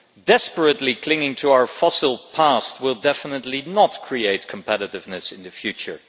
Desperately clinging to our fossil past will definitely not create competitiveness in the future.